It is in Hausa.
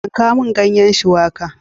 Yanka mun ganyen shuwaka!